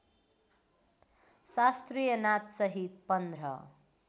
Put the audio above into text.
शास्त्रीय नाचसहित पन्ध्र